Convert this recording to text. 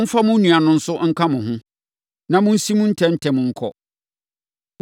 Momfa mo nua no nso nka mo ho, na monsim ntɛm ntɛm nkɔ.